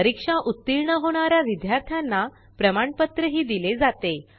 परीक्षा उत्तीर्ण होणाऱ्या विद्यार्थ्यांना प्रमाणपत्र दिले जाते